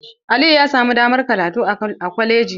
Aliyu ya samu damar karatu a kwalaji.